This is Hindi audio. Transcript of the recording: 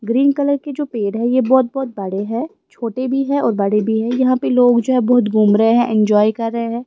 ग्रीन कलर के जो पेड़ है ये बहुत-बहुत बड़े हैं छोटे भी है और बड़े भी है यहां पे लोग जो है बहुत घूम रहे हैं एंजॉय कर रहे हैं।